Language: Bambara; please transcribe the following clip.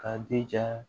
K'a jija